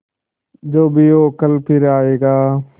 जो भी हो कल फिर आएगा